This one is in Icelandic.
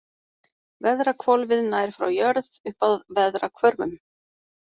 Veðrahvolfið nær frá jörð upp að veðrahvörfum.